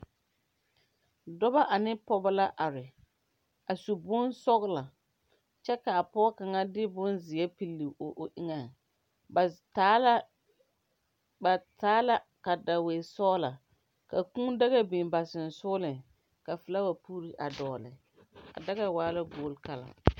Dɔbɔ ane pɔgɔbɔ la are. A su bon sɔgla kyɛ ka a pɔgɔ kanga de bon zie pili o eŋe. Ba taa la, ba taa la kadawii sɔgla ka kuu daka biŋ ba susugleŋ. Ka fulawa pur a dogle. A daka waa la guor kala